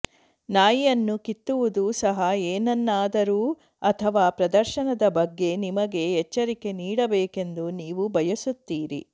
ನಾಯಿಯನ್ನು ಕಿತ್ತುವುದು ಸಹಾ ಏನನ್ನಾದರೂ ಅಥವಾ ಪ್ರದರ್ಶನದ ಬಗ್ಗೆ ನಿಮಗೆ ಎಚ್ಚರಿಕೆ ನೀಡಬೇಕೆಂದು ನೀವು ಬಯಸುತ್ತೀರಿ